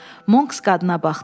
Monks qadına baxdı.